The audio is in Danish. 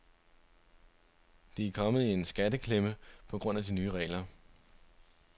De er kommet i en skatteklemme på grund af de nye regler.